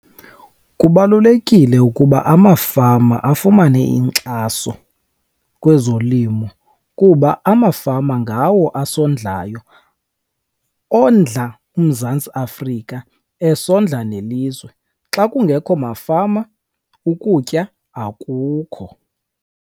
Kubalulekile ukuba amafama afumane inkxaso kwezolimo kuba amafama ngawo asondlayo, ondla uMzantsi Afrika esondla nelizwe. Xa kungekho mafama ukutya akukho.